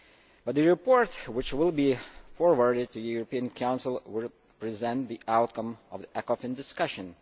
But the report, which will be forwarded to the European Council, will present the outcome of the Ecofin discussion.